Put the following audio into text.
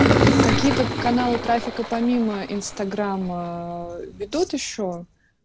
какие тут каналы трафика помимо инстаграма ведут ещё